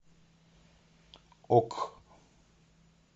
ок